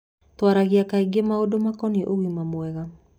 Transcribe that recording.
Twaragia kaingĩ maũndũ makonie ũgima mwega.